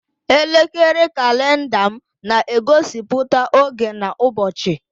Elekere kalenda m na-egosiputa oge na ụbọchị.